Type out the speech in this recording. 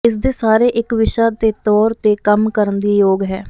ਇਸ ਦੇ ਸਾਰੇ ਇੱਕ ਵਿਸ਼ਾ ਦੇ ਤੌਰ ਤੇ ਕੰਮ ਕਰਨ ਦੇ ਯੋਗ ਹੈ